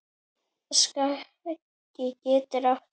Skagi getur átt við